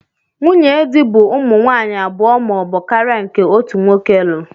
Nwunye di bu ụmụ nwanyi abụọ ma ọbu karia nke otu nwoke lu.